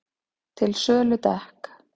Til sölu dekk